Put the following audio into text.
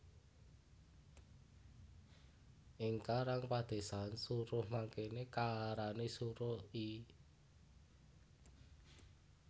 Ing karang padésan suruh mangkene kaarani suruh I